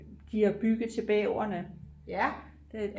de har bygget til bæverne